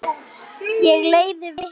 Ég leiði vitni.